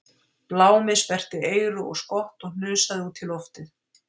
Blámi sperrti eyru og skott og hnusaði út í loftið